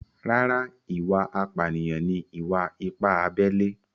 Rárá, ìwà apànìyàn ni ìwà-ipá abẹ́lé